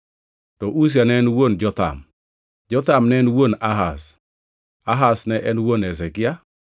to Uzia ne en wuon Jotham, Jotham ne en wuon Ahaz, Ahaz ne en wuon Hezekia,